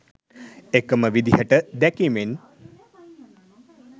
එකම විදිහට දැකීමෙන්